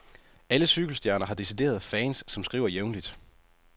Alle cykelstjerner har dedicerede fans, som skriver jævnligt.